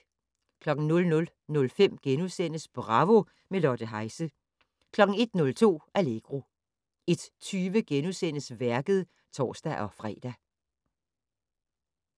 00:05: Bravo - med Lotte Heise * 01:02: Allegro 01:20: Værket *(tor-fre)